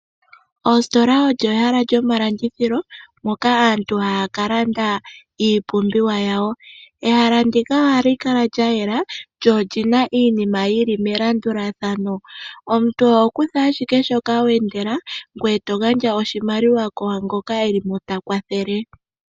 Ositola odjo ehala lyomalandithilo moka aantu haya kalanda iipumbiwa yawo. Ehala ndika ohali kala lyayela lyo olina iinima yili melandulathano, omuntu oho kutha ashike shoka wendela ngwe eto gandja oshimaliwa kwangoka eli mo ta kwathele.